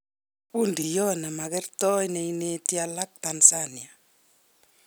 Fundiot ne magertoi ne ineti alak Tanzania